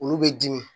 Olu bɛ dimi